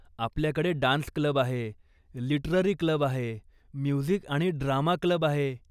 आपल्याकडे dance club आहे, literary club आहे, म्युझिक आणि ड्रामा क्लब आहे.